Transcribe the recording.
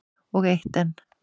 Og eitt enn.